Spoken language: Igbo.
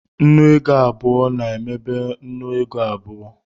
Nnu ego abụọ na-emebe nnu ego n'abu